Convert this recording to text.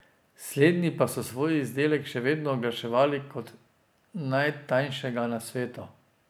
Slednji pa so svoj izdelek še vedno oglaševali kot najtanjšega na svetu.